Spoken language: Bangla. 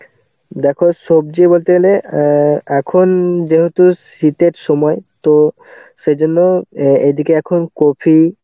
দেখো সবজি বলতে গেলে অ্যাঁ এখন যেহেতু শীতের সময় তো সেই জন্য এদিকে এখন কপি,